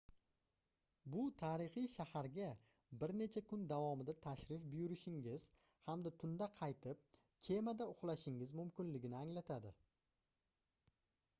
bu tarixiy shaharga bir necha kun davomida tashrif buyurishingiz hamda tunda qaytib kemada uxlashingiz mumkinligini anglatadi